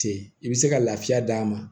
Ten i bɛ se ka lafiya d'a ma